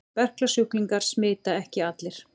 Berklasjúklingar smita ekki allir.